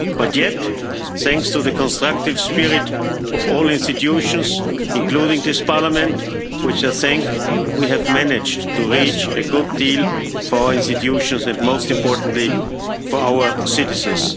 But yet, thanks to the constructive spirit of all institutions, including this Parliament, which I thank, we have managed to reach a good deal for our institutions, and most importantly for our citizens.